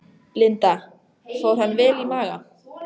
Linda: Fór hann vel í maga?